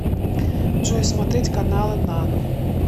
джой смотреть каналы нано